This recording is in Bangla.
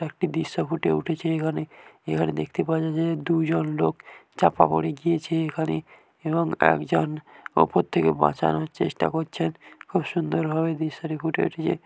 একটি দৃশ্য ফুটে উঠেছে এখানে । এখানে দেখতে পাওয়া যে দুইজন লোক চাপা পড়ে গিয়েছে এখানে । এবং একজন ওপর থেকে বাঁচানোর চেষ্টা করছেন | খুব সুন্দরভাবে দৃশ্যটি ফুটে উঠেছে।